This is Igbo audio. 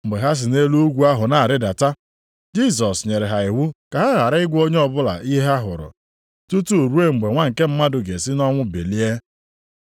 Mgbe ha si nʼelu ugwu ahụ na-arịdata, Jisọs nyere ha iwu ka ha ghara ịgwa onye ọbụla ihe ha hụrụ, tutu ruo mgbe Nwa nke Mmadụ ga-esi nʼọnwụ bilie.